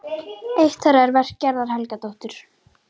Eitt þeirra er verk Gerðar Helgadóttur.